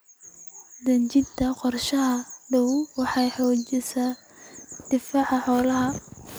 Dejinta qorshe daaweyn waxay xoojisaa difaaca xoolaha.